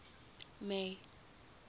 may